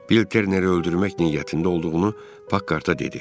Bil Terneri öldürmək niyyətində olduğunu Pakkart-a dedi.